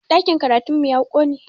Ɗakin karatun mu ya ƙone